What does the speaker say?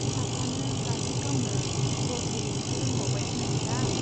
फिसाफ्रानो बाथुल गावनो , बल गेलेनो रोंबावबायसो ओन्दां।